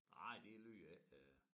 Nej det lyder ikke øh